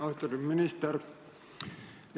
Austatud minister!